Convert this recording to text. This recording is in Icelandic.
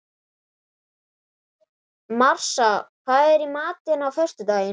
Marsa, hvað er í matinn á föstudaginn?